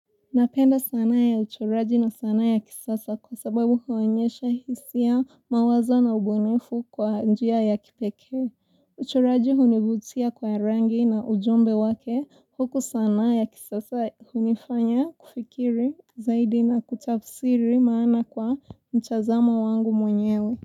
Napenda sanaa ya uchoraji na sanaa ya kisasa kwa sababu huonyesha hisia mawazo na ubunifu kwa njia ya kipekee. Uchoraji hunivutia kwa rangi na ujumbe wake huku sanaa ya kisasa hunifanya kufikiri zaidi na kutafsiri maana kwa mtazamo wangu mwenyewe.